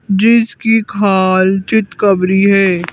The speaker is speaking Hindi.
जिसकी खालचित खबरी है।